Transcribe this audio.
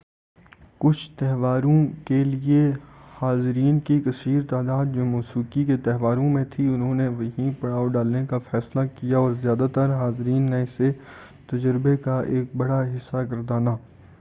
کُچھ تہواروں کے لیے حاضرین کی کثیر تعداد جو موسیقی کے تہواروں میں تھی اُنہوں نے وہیں پڑاؤ ڈالنے کا فیصلہ کیا اور زیادہ تر حاضرین نے اسے تجربے کا ایک بڑا حِصّہ گردانا